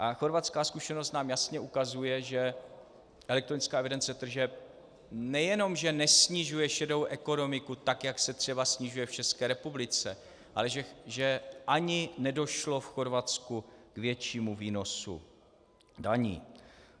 A chorvatská zkušenost nám jasně ukazuje, že elektronická evidence tržeb nejenom že nesnižuje šedou ekonomiku tak, jak se třeba snižuje v České republice, ale že ani nedošlo v Chorvatsku k většímu výnosu daní.